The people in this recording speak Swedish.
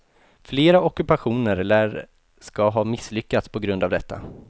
Flera ockupationer lär ska ha misslyckats på grund av detta.